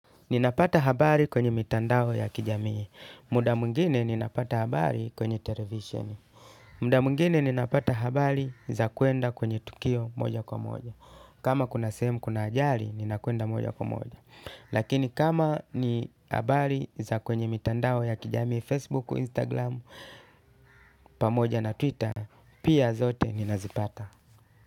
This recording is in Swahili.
Nina pata habari kwenye mitandao ya kijamii, muda mwingine ninapata habari kwenye televisheni, muda mwingine ninapata habari za kwenda kwenye tukio moja kwa moja, kama kuna sehemu kuna ajali ninakwenda moja kwa moja, lakini kama ni habari za kwenye mitandao ya kijamii Facebook, Instagram, pamoja na Twitter, pia zote nina zipata.